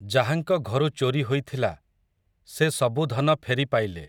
ଯାହାଙ୍କ ଘରୁ ଚୋରି ହୋଇଥିଲା, ସେ ସବୁ ଧନ ଫେରିପାଇଲେ ।